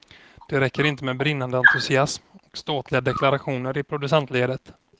Det räcker inte med brinnande entusiasm och ståtliga deklarationer i producentledet.